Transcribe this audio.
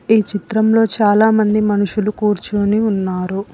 ఈ చిత్రంలో చాలామంది మనుషులు కూర్చోని ఉన్నారు.